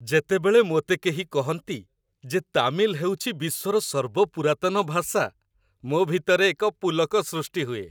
ଯେତେବେଳେ ମୋତେ କେହି କହନ୍ତି ଯେ ତାମିଲ ହେଉଛି ବିଶ୍ୱର ସର୍ବପୁରାତନ ଭାଷା, ମୋ ଭିତରେ ଏକ ପୁଲକ ସୃଷ୍ଟି ହୁଏ ।